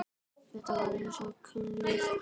Þetta var eins og kynlíf.